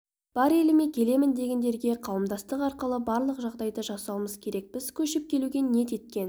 бар еліме келемін дегендерге қауымдастық арқылы барлық жағдайды жасауымыз керек біз көшіп келуге ниет еткен